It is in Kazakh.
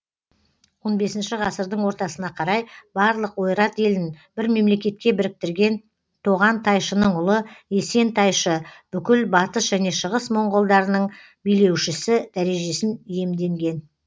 он бесінші ғасырдың ортасына қарай барлық ойрат елін бір мемлекетке біріктірген тоған тайшының ұлы есен тайшы бүкіл батыс және шығыс монғолдарының билеушісі дәрежесін иемденген